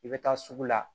I bɛ taa sugu la